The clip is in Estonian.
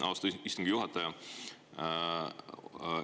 Austatud istungi juhataja!